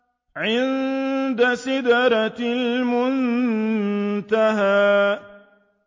عِندَ سِدْرَةِ الْمُنتَهَىٰ